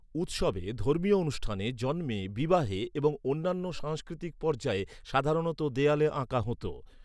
উৎসবে, ধর্মীয় অনুষ্ঠানে, জন্মে, বিবাহে এবং অন্যান্য সাংস্কৃতিক পর্যায়ে, সাধারণত দেয়ালে আঁকা হত।